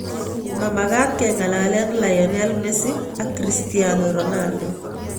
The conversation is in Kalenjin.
Mamakat kengalale Lionel Messi ak Cristiano Ronaldo.